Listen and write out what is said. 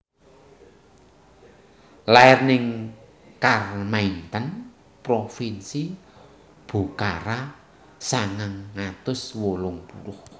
Lair ning Kharmaithen provinsi Bokhara sangang atus wolung puluh